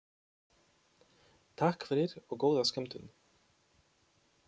Takk fyrir og góða skemmtun.